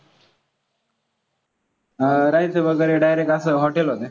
अं राहायचं वगैरे direct असं hotel होतं.